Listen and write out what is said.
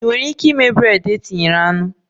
Ị nwere ike ịme bred e tinyere anụ?